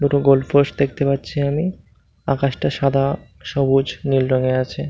দুটো goal post দেখতে পাচ্ছি আমি আকাশটা সাদা সবুজ নীল রঙের আছে ।